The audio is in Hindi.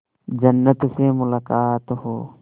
जन्नत से मुलाकात हो